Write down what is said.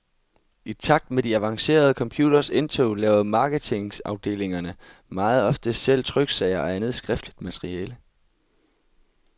I takt med de avancerede computeres indtog laver marketingafdelingerne meget ofte selv tryksager og andet skriftligt materiale.